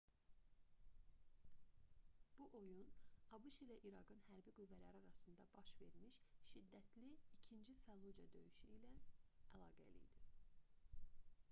bu oyun abş ilə i̇raqın hərbi qüvvələri arasında baş vermiş şiddətli i̇kinci fəllucə döyüşü ilə əlaqəli idi